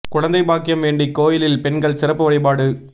குழந்தை பாக்கியம் வேண்டி கோயிலில் பெண்கள் சிறப்பு வழிபாடு